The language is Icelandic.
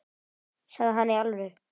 Sagði hann það í alvöru?